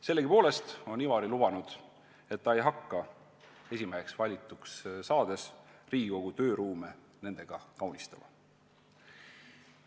Sellegipoolest on Ivari lubanud, et ta ei hakka esimeheks valituks saades Riigikogu tööruume nende asjadega kaunistama.